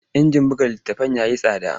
Injin haɗa littattafai ya yi tsada.